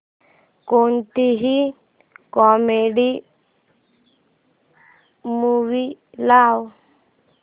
कोणतीही comedy movie लाव